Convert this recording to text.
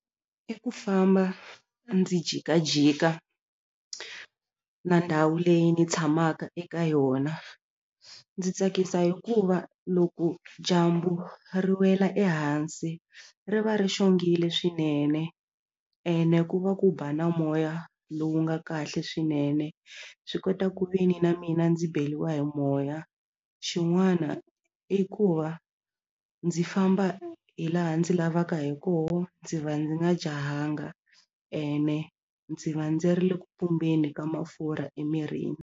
I ku famba ndzi jikajika na ndhawu leyi ni tshamaka eka yona ndzi tsakisa hikuva loko dyambu ri wela ehansi ri va ri xongile swinene ene ku va ku ba na moya lowu nga kahle swinene swi kota ku ve ni na mina ndzi beriwa hi moya xin'wana i ku va ndzi famba hi laha ndzi lavaka hi koho ndzi va ndzi nga jahanga ene ndzi va ndzi ri le ku ka mafurha emirini.